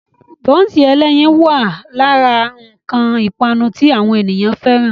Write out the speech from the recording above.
Bọ́nsì ẹlẹ́yin ẹlẹ́yin náà wà lára àwọn nǹkan ipanu tí àwọn ènìyàn fẹ́ràn.